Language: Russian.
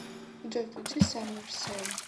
джой включи саммер сэм